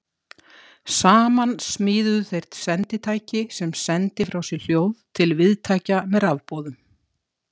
Saman smíðuðu þeir senditæki sem sendi frá sér hljóð til viðtækja með rafboðum.